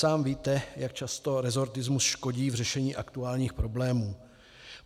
Sám víte, jak často resortismus škodí v řešení aktuálních problémů.